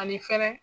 Ani fɛnɛ